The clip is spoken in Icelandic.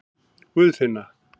Guðfinna